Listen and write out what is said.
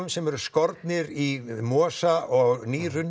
sem eru skornir í mosa og